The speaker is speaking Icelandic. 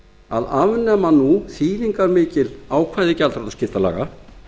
að afnema nú þýðingarmikil ákvæði gjaldþrotaskiptalaga